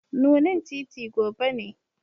Nunin titi gobe ne.